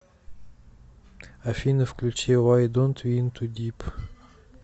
афина включи вай донт ви ин ту дип